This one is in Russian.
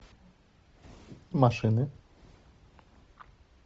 машины